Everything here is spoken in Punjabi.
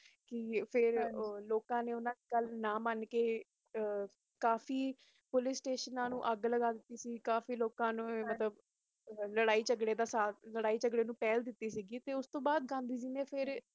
ਤੇ ਫਿਰ ਲੋਕਾਂ ਨੇ ਉਨ੍ਹਾਂ ਦੀ ਗੱਲ ਨਾ ਮਨ ਕ ਕਾਫੀ ਪੁਲਿਸ ਸਟੇਸ਼ਨਾਂ ਨੂੰ ਅਗਗ ਲਗਾ ਦਿਤੀ ਸੀ ਕਾਫੀ ਲੋਕਾਂ ਨੇ ਲਾਰਾਇ ਜਘਰੇ ਵਿਚ ਪਹਿਲ ਕਿੱਤੀ ਸੀ ਤੇ ਉਸ ਦੇ ਬਾਦ ਗਾਂਧੀ ਜੀ ਨੇ